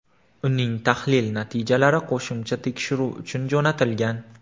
Uning tahlil natijalari qo‘shimcha tekshiruv uchun jo‘natilgan.